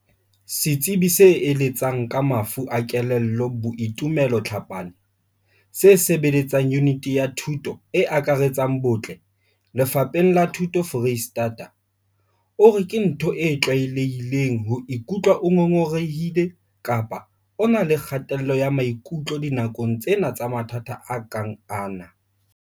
Setsebi se eletsang ka mafu a kelello Boitumelo Tlhapane, se sebeletsang Yuniti ya Thuto e Akaretsang bohle, Lefapheng la Thuto Freistata, o re ke ntho e tlwaelehileng ho ikutlwa o ngongorehile kapa o na le kgatello ya maikutlo dinakong tsena tsa mathata a kang ana.